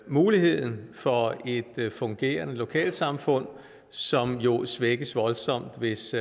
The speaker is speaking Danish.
muligheden for et fungerende lokalsamfund som jo svækkes voldsomt hvis